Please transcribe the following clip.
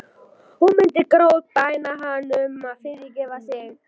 Hún myndi grátbæna hann um að fyrirgefa sér.